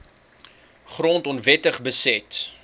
grond onwettig beset